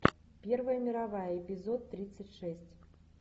первая мировая эпизод тридцать шесть